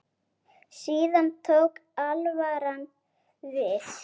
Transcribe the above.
Síðan tók alvaran við.